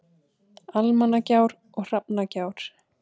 Almannagjár og Hrafnagjár.